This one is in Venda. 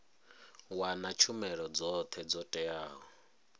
wana tshumelo dzothe dzo teaho